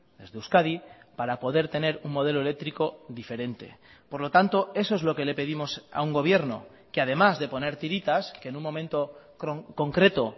desde euskadi para poder tener un modelo eléctrico diferente por lo tanto eso es lo que le pedimos a un gobierno que además de poner tiritas que en un momento concreto